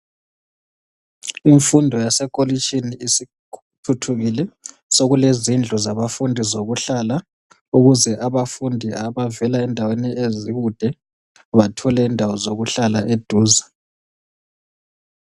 Imfundo yasekolitshini isithuthukile. Sokule zindlu zabafundi zokuhlala ukuze abafundi abavela endaweni ezikude bathole indawo zokuhlala eduze